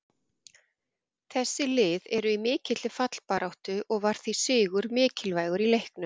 Þessi lið eru í mikilli fallbaráttu og var því sigur mikilvægur í leiknum.